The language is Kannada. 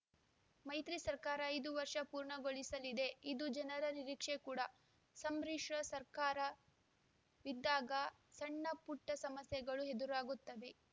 ಮೈತ್ರಿ ಸರ್ಕಾರ ಐದು ವರ್ಷ ಪೂರ್ಣಗೊಳಿಸಲಿದೆ ಇದು ಜನರ ನಿರೀಕ್ಷೆ ಕೂಡ ಸಂಬ್ರಿಶ್ರ ಸರ್ಕಾರವಿದ್ದಾಗ ಸಣ್ಣಪುಟ್ಟಸಮಸ್ಯೆಗಳು ಎದುರಾಗುತ್ತವೆ